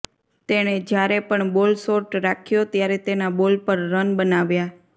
તેણે જ્યારે પણ બોલ શોર્ટ રાખ્યો ત્યારે તેના બોલ પર રન બનાવ્યા